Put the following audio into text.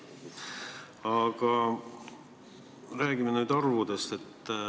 Aga räägime nüüd arvudest.